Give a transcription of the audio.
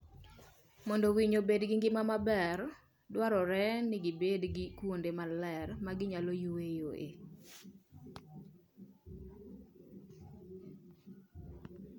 Mondo winy obed gi ngima maber, dwarore ni gibed gi kuonde maler ma ginyalo yueyoe.